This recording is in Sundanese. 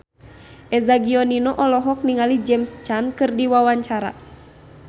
Eza Gionino olohok ningali James Caan keur diwawancara